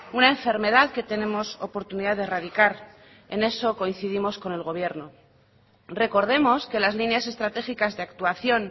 una enfermedad que tenemos oportunidad de erradicar en eso coincidimos con el gobierno recordemos que las líneas estratégicas de actuación